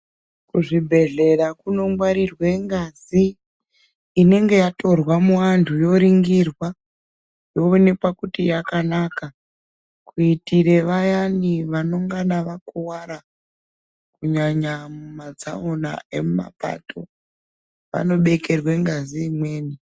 Kuzvibhedhlera kunongwarirwe ngazi, inenge yatorwa muantu, yoringirwa , yoonekwa kuti yakanaka kuitire vayani vanongana vakuwara, kunyanya mumatsaona emumapato, vanobekerwe ngazi imweni.